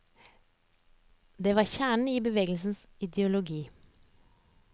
Det var kjernen i bevegelsens ideologi.